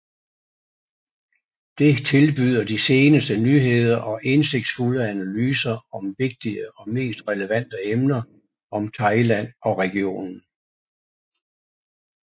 Det tilbyder de seneste nyheder og indsigtsfulde analyser om vigtige og mest relevante emner om Thailand og regionen